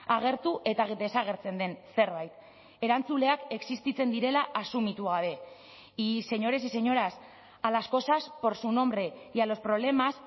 agertu eta desagertzen den zerbait erantzuleak existitzen direla asumitu gabe y señores y señoras a las cosas por su nombre y a los problemas